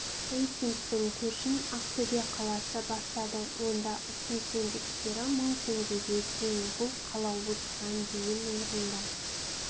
рейтингтің көшін ақтөбе қаласы бастады онда ұсыныс индекстері мың теңгеге тең бұл қала осыған дейін орында